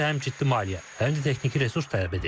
Bu isə həm ciddi maliyyə, həm də texniki resurs tələb edir.